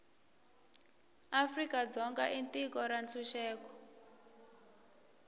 afrika dzonga i tiko ra ntshuxeko